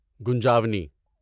گنجاونی